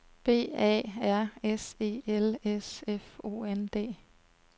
B A R S E L S F O N D